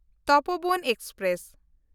Tapovan express